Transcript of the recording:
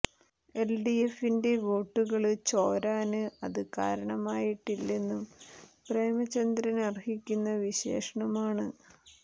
L D എഫിന്റെ വോട്ടുകള് ചോരാന് അത് കാരണമായിട്ടില്ലെന്നും പ്രേമചന്ദ്രന് അര്ഹിക്കുന്ന വിശേഷണമാണ്